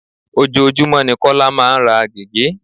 Ojoojúmó ni Kọ́lá máa ń ra gege.